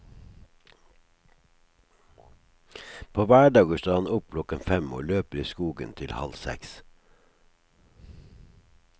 På hverdager står han opp klokken fem og løper i skogen til halv seks.